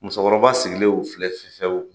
Musokɔrɔba sigilen y'u filɛ fefewu